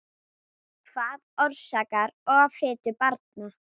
Hvað orsakar offitu barna?